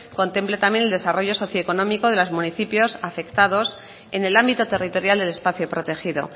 contemple también el desarrollo socioeconómico de los municipios afectados en el ámbito territorial del espacio protegido